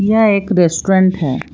यह एक रेस्टोरेंट है।